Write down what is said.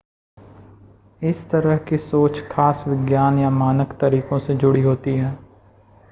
इस तरह की सोच खास विज्ञान या मानक तरीकों से जुड़ी होती है